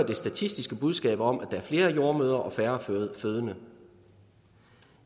det statistiske budskab om at der er flere jordemødre og færre fødende fødende